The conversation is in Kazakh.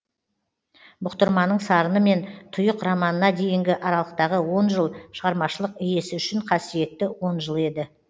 бұқтырманың сарыны мен тұйық романына дейінгі аралықтағы он жыл шағармашылық иесі үшін қасиетті он жыл еді